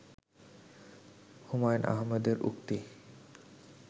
হুমায়ূন আহমেদের উক্তি